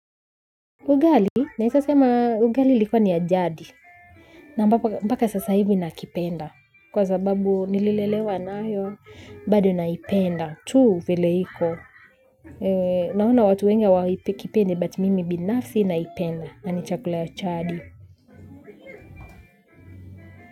Ugali, naeza sema ugali ilikuwa ni ya jadi. Na mpaka sasa hivi na kipenda. Kwa sababu nililelewa nayo, bado naipenda. Tuu vile iko. Naona watu wengi hawa kipendi, but mimi binafsi naipenda. Nanichakula ya chadi.